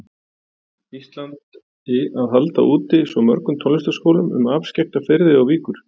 Íslandi að halda úti svo mörgum tónlistarskólum um afskekkta firði og víkur.